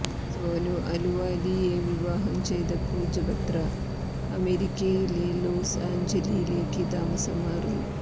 സോനു അലുവാലിയെ വിവാഹം ചെയ്ത പൂജ ബത്ര അമേരിക്കയിലെ ലോസ്ആഞ്ചല്സിലേക്ക് താമസം മാറി